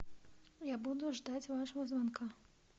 я буду ждать вашего звонка